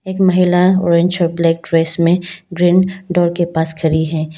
एक महिला orange black dress में ग्रीन डोर के पास खड़ी है।